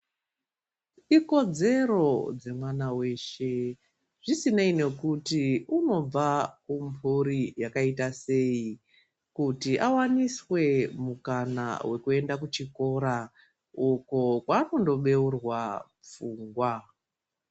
Ikodzero dzemwana weeshe zvisinei nekuti unobva kumhuri yakaita sei, kuti awaniswe mukana wekuenda kuchikora uko kwakundobeurwa pfungwa.